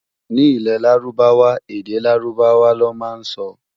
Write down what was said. Ní ilè lárúbáwá, èdè lárùbáwá ló má n sọ